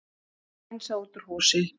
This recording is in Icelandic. Hreinsað út úr húsi